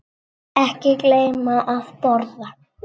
Ekki gleyma að borða.